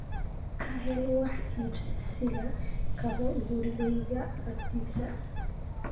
ka hel wax iibsiga kabo gurigayga agtiisa